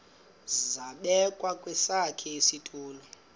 zabekwa kwesakhe isitulo